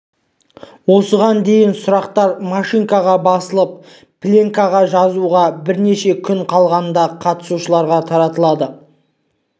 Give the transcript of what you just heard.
осыған дейін сұрақтар машинкаға басылып пленкаға жазуға бірнеше күн қалғанда қатысушыларға таратылады